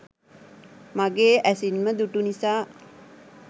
මගේ ඇසින්ම දුටු නිසා